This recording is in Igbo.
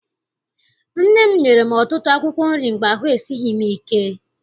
Nne m nyere m ọtụtụ akwụkwọ nri mgbe ahụ esighị m ike.